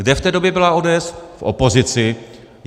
Kde v té době byla ODS v opozici.